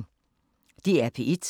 DR P1